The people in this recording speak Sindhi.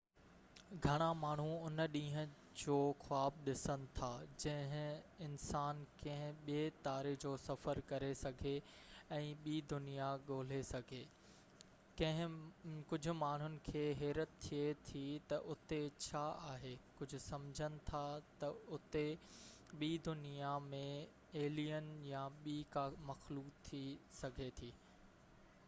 گهڻا ماڻهو ان ڏينهن جو خواب ڏسن ٿا جڏهن انسان ڪنهن ٻي تاري جو سفر ڪري سگهي ۽ ٻي دنيا ڳولي سگهي ڪجهہ ماڻهن کي حيرت ٿئي ٿي تہ اتي ڇا آهي ڪجهہ سمجهن ٿا تہ اتي ٻي دنيا ۾ ايلين يا ٻي ڪا مخلوق ٿي سگهي ٿي